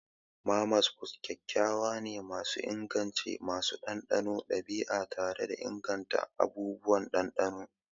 Mama's food tarin kayayyaki ne masu inganci, masu ɗanɗanon ɗabi'a tare da ingantattun abubuwan ɗanɗano.